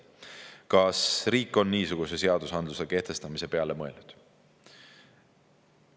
Kas riik on niisuguse seadusandluse kehtestamise peale mõelnud?